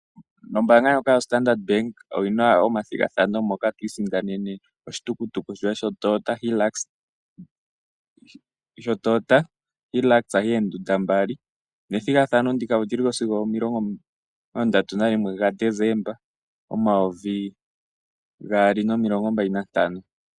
Ombaanga ndjoka yo Standard Bank oyina omathigathano moka to isindanene oshitukutuku shoye sho Toyota Hilux yoondunda mbali. Nethigathano ndika olyili ko sigo omilongo ndatu nalimwe ga Decemba omayovi gaali nomilongo mbali nantano.